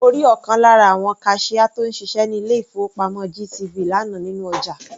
Mo rí ọ̀kan lára àwon kaṣíá tó ń ṣiṣẹ́ ní ilé-ìfowópamọ́ GTB lánàá nínú ọjà.